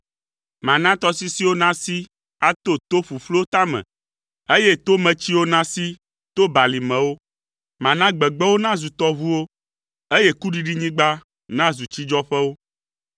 Mana tɔsisiwo nasi ato to ƒuƒluwo tame, eye tometsiwo nasi to balimewo. Mana gbegbewo nazu tɔʋuwo, eye kuɖiɖinyigba nazu tsidzɔƒewo.